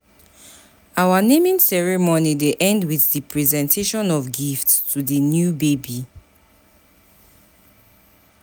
Our naming ceremony dey end with with di presentation of gifts to di new baby.